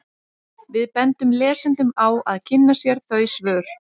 Við bendum lesendum á að kynna sér þau svör.